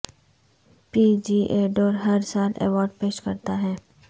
P G A tour ہر سال award پیش کرتا ہے